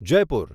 Jaipur